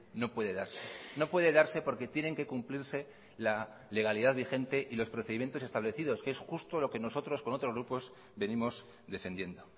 no puede darse no puede darse porque tienen que cumplirse la legalidad vigente y los procedimientos establecidos que es justo lo que nosotros con otros grupos venimos defendiendo